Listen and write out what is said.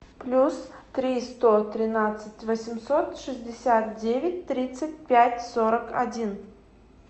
плюс три сто тринадцать восемьсот шестьдесят девять тридцать пять сорок один